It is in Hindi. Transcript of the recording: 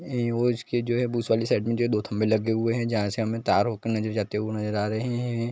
ये इसकी जो है बूथ वाली साइड में जो है दो खंभे लगे हुए है जहाँ से हमे तार हो के नज़र जाते हुए नज़र आ रहे है।